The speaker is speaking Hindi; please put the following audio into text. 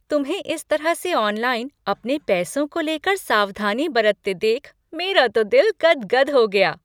तुम्हें इस तरह से ऑनलाइन अपने पैसों को लेकर सावधानी बरतते देख मेरा तो दिल गदगद हो गया।